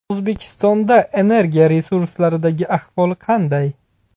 O‘zbekistonda energiya resurslaridagi ahvol qanday?.